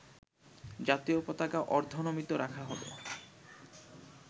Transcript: জাতীয় পতাকা অর্ধনমিত রাখা হবে